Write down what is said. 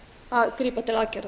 að grípa til aðgerða